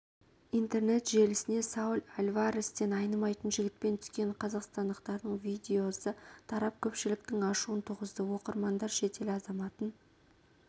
интернет желісіне сауль альварестен айнымайтын жігітпен түскен қазақстандықтардың видеосы тарап көпшіліктің ашуын туғызды оқырмандар шетел азаматын